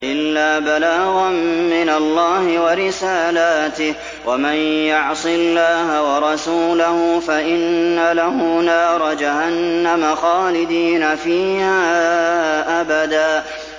إِلَّا بَلَاغًا مِّنَ اللَّهِ وَرِسَالَاتِهِ ۚ وَمَن يَعْصِ اللَّهَ وَرَسُولَهُ فَإِنَّ لَهُ نَارَ جَهَنَّمَ خَالِدِينَ فِيهَا أَبَدًا